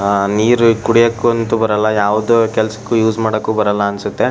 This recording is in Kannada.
ಆ ನೀರು ಕುಡಿಯೊಕ್ಕಂತೂ ಬರಲ್ಲ ಯಾವುದು ಕೆಲಸಕ್ಕೂ ಯೂಸ್ ಮಾಡೋಕ್ಕೂ ಬರಲ್ಲ ಅನಿಸುತ್ತೆ.